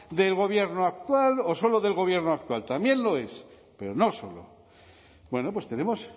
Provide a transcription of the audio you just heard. del gobierno actual o solo del gobierno actual también lo es pero no solo bueno pues tenemos